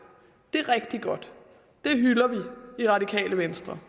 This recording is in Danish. det er rigtig godt det hylder vi i radikale venstre